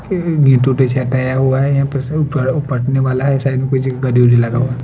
हटाया हुआ है ये पड़ने वाला है --